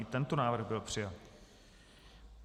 I tento návrh byl přijat.